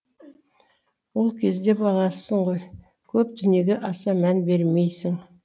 ол кезде баласың ғой көп дүниеге аса мән бермейсің